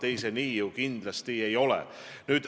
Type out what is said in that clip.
Ei, nii see ju kindlasti ei ole.